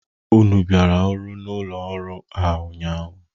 Unu bịara ọrụ n'ụlọ ọrụ a ụnyaahụ?